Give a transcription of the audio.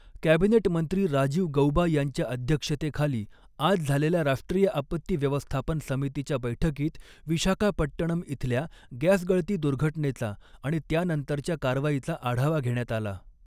Cabinet मंत्री राजीव गऊबा यांच्या अध्यक्षतेखाली आज झालेल्या राष्ट्रीय आपत्ती व्यवस्थापन समितीच्या बैठकीत विशाखापट्टणम इथल्या गॅसगळती दुर्घटनेचा आणि त्यानंतरच्या कारवाईचा आढावा घेण्यात आला.